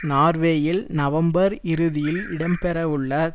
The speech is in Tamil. நார்வேயில் நவம்பர் இறுதியில் இடம் பெறவுள்ள